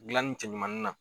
Gilanni cɛ ɲumanin na